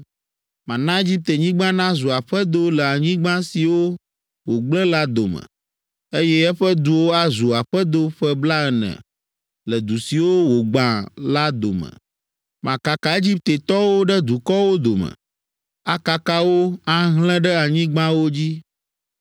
Mana Egiptenyigba nazu aƒedo le anyigba siwo wògblẽ la dome, eye eƒe duwo azu aƒedo ƒe blaene le du siwo wogbã la dome. Makaka Egiptetɔwo ɖe dukɔwo dome, akaka wo, ahlẽ ɖe anyigbawo dzi.